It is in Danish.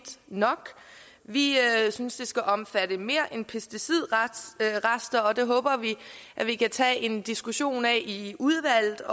nok vi synes det skal omfatte mere end pesticidrester og det håber vi at vi kan tage en diskussion af i udvalget